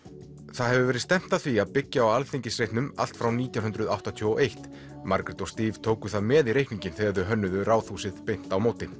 það hefur verið stefnt að því að byggja á Alþingisreitnum allt frá nítján hundruð áttatíu og eitt Margrét og Steve tóku það með í reikninginn þegar þau hönnuðu Ráðhúsið beint á móti